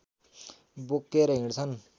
बोकेर हिँड्छन्